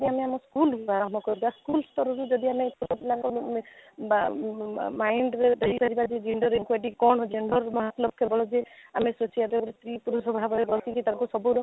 କୁ ଆମେ school ରୁ ଆରମ୍ଭ କରିବା school ସ୍ତରରୁ ଯଦି ଆମେ ଛୋଟ ପିଲାଙ୍କୁ ଆମେ ବା mind ରେ ଦେଇ ପାରିବା କି gender equity କ'ଣ gender କେବଳ କି ଆମେ ସୁ ସ୍ୱାଦର ସ୍ତ୍ରୀ ପୁରୁଷ ଭାବରେ ବସିକି ତାକୁ ସବୁର